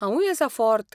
हांवूय आसां फॉर्त.